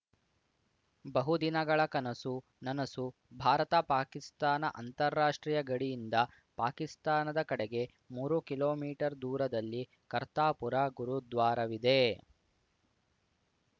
ಬಹುದಿನಗಳ ಕನಸು ನನಸು ಭಾರತ ಪಾಕಿಸ್ತಾನ ಅಂತಾರಾಷ್ಟ್ರೀಯ ಗಡಿಯಿಂದ ಪಾಕಿಸ್ತಾನದ ಕಡೆಗೆ ಮೂರು ಕಿಲೋಮೀಟರ್ ದೂರದಲ್ಲಿ ಕರ್ತಾಪುರ ಗುರುದ್ವಾರವಿದೆ